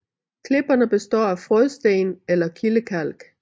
Klipperne består af frådsten eller kildekalk